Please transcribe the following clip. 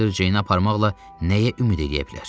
Şneyder Ceyni aparmaqla nəyə ümid eləyə bilər?